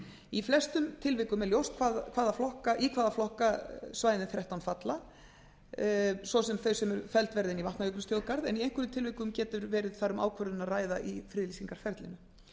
í flestum tilvikum er ljóst hvaða flokka svæðin þrettán falla í ss þau sem felld verða inn í vatnajökulsþjóðgarð en í einhverjum tilvikum getur verið þar um ákvörðun að ræða í friðlýsingarferlinu